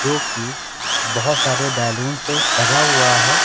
जो कि बहोत सारे बैलून से सजा हुआ है।